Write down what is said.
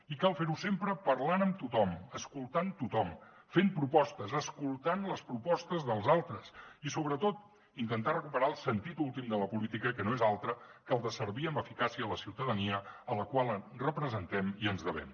i cal fer ho sempre parlant amb tothom escoltant tothom fent propostes escoltant les propostes dels altres i sobretot intentat recuperar el sentit últim de la política que no és altre que el de servir amb eficàcia a la ciutadania a la qual representem i ens devem